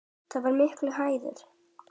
Það var mikill heiður.